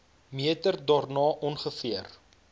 meter daarna ongeveer